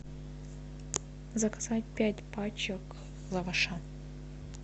заказать пять пачек лаваша